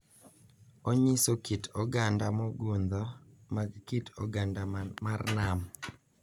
Onyiso kit oganda mogundho mag kit oganda mar nam,